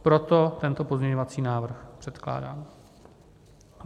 Proto tento pozměňovací návrh předkládám.